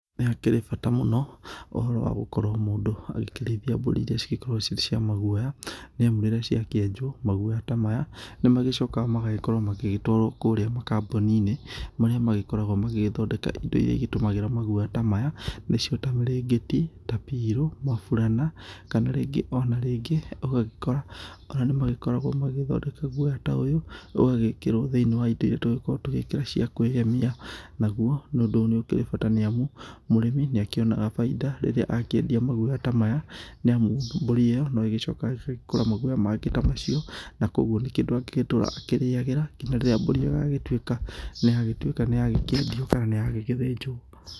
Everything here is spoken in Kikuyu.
Nĩ hakĩrĩ bata mũno ũhoro wa gũkorwo mũndũ agĩkĩrĩithia mbũri iria cigĩkoragwo cirĩ cia maguoya nĩ amu rĩrĩa ciakĩenjwo maguoya ta maya nĩ magĩcokaga magagĩkorwo magĩgĩtwarwo kũrĩa makambuni-inĩ, marĩa magĩkoragwo magĩgĩthondeka indo iria igĩtũmagĩra maguoya ta maya, nĩcio ta mĩrĩngĩti, ta pirũ, maburana kana rĩngĩ, o na rĩngĩ ũgagĩkora ona nĩ magĩkoragwo magĩgĩthondeka guoya ta ũyũ, ũgagĩkĩrwo thinĩ wa indo iria tũgĩkoragwo tũgĩgĩkĩra cia kwĩgemia, Naguo ũndũ ũyũ nĩ ũkĩrĩ bata nĩ amu, mũrĩmi nĩ akíonaga baida rĩrĩa akĩendia maguoya ta maya nĩ amu mbũri ĩyo no ĩgĩcokaga ĩgagĩkũra maguoya mangĩ ta macio na kũguo nĩ kĩndũ angĩgĩtũra akĩrĩagĩra nginya rĩrĩa mbũri ĩyo ĩgagĩtuĩka nĩ yagĩtuĩka nĩ yagĩkĩendio kana nĩ yagĩthĩnjwo.